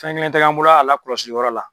Fɛn kelen te ye an bolo a lakɔlɔsi yɔrɔ la.